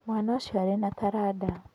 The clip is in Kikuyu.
Mwana ũcio arĩ na taranda.